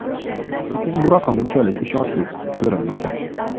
Lekin bu raqam unchalik ishonchli ko‘rinmagan.